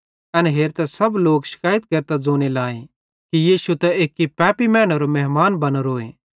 एन हेरतां सब लोक शकैइत केरतां ज़ोने लाए कि यीशु त एक्की पैपी मैनेरो मेहमान बनोरोए